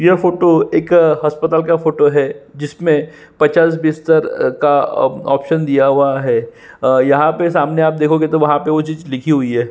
यह फोटो एक हस्पताल का फोटो है जिसमे पचास बिस्तर का ऑप्शन दिया हुआ है। यहाँ पे सामने आप देखोगे तो वहा पे वह चीज़ लिखी हुई है।